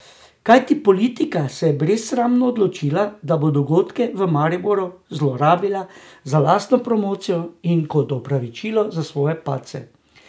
Kajti politika se je brezsramno odločila, da bo dogodke v Mariboru zlorabila za lastno promocijo in kot opravičilo za svoje padce.